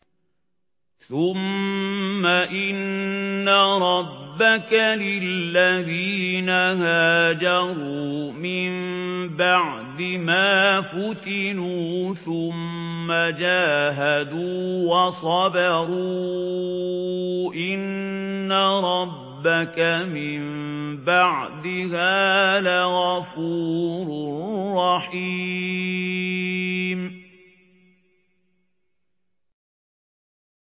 ثُمَّ إِنَّ رَبَّكَ لِلَّذِينَ هَاجَرُوا مِن بَعْدِ مَا فُتِنُوا ثُمَّ جَاهَدُوا وَصَبَرُوا إِنَّ رَبَّكَ مِن بَعْدِهَا لَغَفُورٌ رَّحِيمٌ